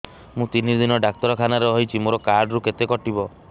ମୁଁ ତିନି ଦିନ ଡାକ୍ତର ଖାନାରେ ରହିଛି ମୋର କାର୍ଡ ରୁ କେତେ କଟିବ